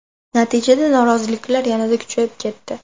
Natijada noroziliklar yanada kuchayib ketdi.